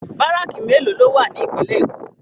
Bàráki méló ló wá ni Ipinlè Ékó?